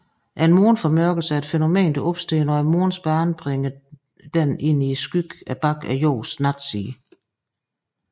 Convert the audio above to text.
En måneformørkelse er et fænomen der opstår når Månens bane bringer denne ind i skyggen bag Jordens natside